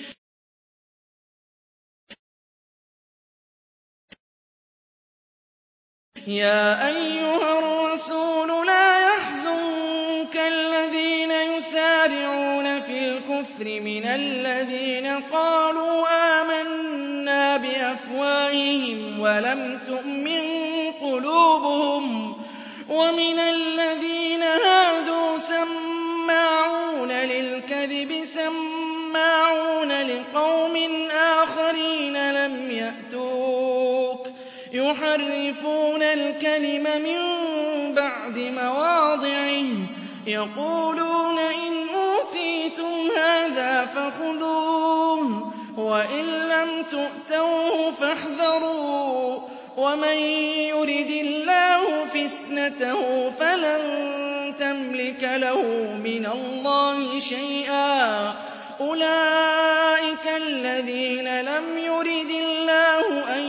۞ يَا أَيُّهَا الرَّسُولُ لَا يَحْزُنكَ الَّذِينَ يُسَارِعُونَ فِي الْكُفْرِ مِنَ الَّذِينَ قَالُوا آمَنَّا بِأَفْوَاهِهِمْ وَلَمْ تُؤْمِن قُلُوبُهُمْ ۛ وَمِنَ الَّذِينَ هَادُوا ۛ سَمَّاعُونَ لِلْكَذِبِ سَمَّاعُونَ لِقَوْمٍ آخَرِينَ لَمْ يَأْتُوكَ ۖ يُحَرِّفُونَ الْكَلِمَ مِن بَعْدِ مَوَاضِعِهِ ۖ يَقُولُونَ إِنْ أُوتِيتُمْ هَٰذَا فَخُذُوهُ وَإِن لَّمْ تُؤْتَوْهُ فَاحْذَرُوا ۚ وَمَن يُرِدِ اللَّهُ فِتْنَتَهُ فَلَن تَمْلِكَ لَهُ مِنَ اللَّهِ شَيْئًا ۚ أُولَٰئِكَ الَّذِينَ لَمْ يُرِدِ اللَّهُ أَن